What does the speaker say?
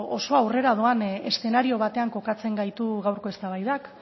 oso aurrera doan eszenario batean kokatzen gaitu gaurko eztabaidak